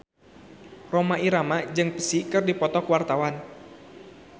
Rhoma Irama jeung Psy keur dipoto ku wartawan